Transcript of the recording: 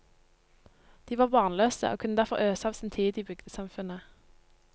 De var barnløse, og kunne derfor øse av sin tid i bygdesamfunnet.